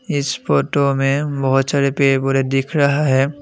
इस फोटो में बहुत सारे पेड़ पौधे दिख रहा है।